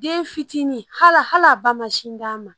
Den fitinin hala hal'a ba ma sin d'a ma